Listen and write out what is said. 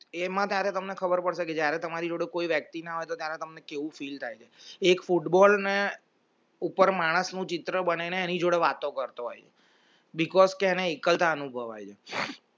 એમાં તમને ખબર પડશે કે જ્યારે તમારી જોડે કોઈ વ્યક્તિ ના હોય તો તમને કેવું feel થાય છે એક football ને ઉપર માણસ નું ચિત્ર એની જોડે વાતો કરતો હોય because કે એને એકલતા અનુભવે છે